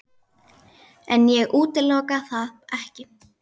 En ég útiloka það ekki.